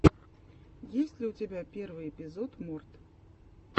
есть ли у тебя первый эпизод морт